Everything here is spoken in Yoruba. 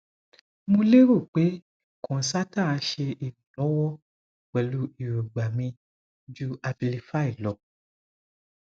mo lero pe concerta se ironlowo pelu irogba mi ju abilify lo